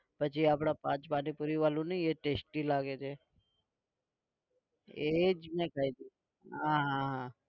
પછી આપણે પાંચ પાણીપૂરી વાળું નહીં એ testy લાગે છે. એ જ ને કઈક હા હા હા